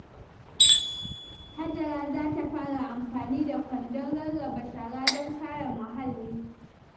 Hajara za ta fara amfani da kwandon rarraba shara don kare muhalli.